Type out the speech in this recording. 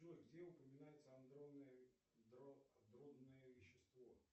джой где упоминается андронное вещество